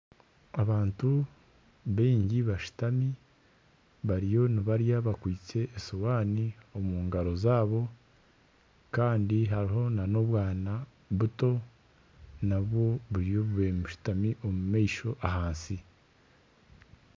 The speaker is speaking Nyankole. Abantu bingi bashuutami bariyo nibarya bakwistye eshuuhani omugaro zaabo kandi hariho na n'obwana buto nabwo buriyo bubaire bushutami omu maisho ahansi.